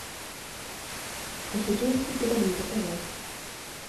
осетинские пироги заказать